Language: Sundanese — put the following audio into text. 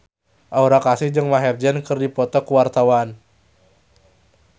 Aura Kasih jeung Maher Zein keur dipoto ku wartawan